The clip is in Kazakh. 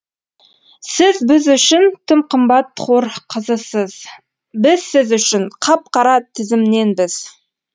сіз біз үшін тым қымбат хор қызысыз біз сіз үшін қап қара тізімненбіз